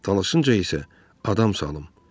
Tanışınca isə adam salım.